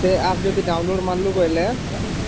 ସେ apps ଯଦି download ମାରିଲୁ ବୋଇଲେ